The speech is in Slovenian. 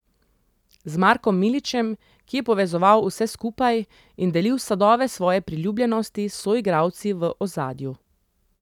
Z Markom Miličem, ki je povezoval vse skupaj in delil sadove svoje priljubljenosti s soigralci v ozadju.